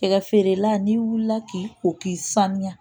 Cɛkɛ feerela n'i wulila k'i ko k'i sanuya